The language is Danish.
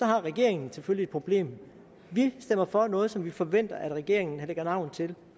har regeringen selvfølgelig et problem vi stemmer for noget som vi forventer at regeringen der lægger navn til